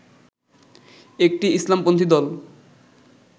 একটি ইসলামপন্থী দল